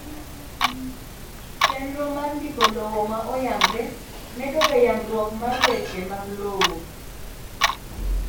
chenro mar ndiko lowo ma oyangre medo ga yangruok mar weche mag lowo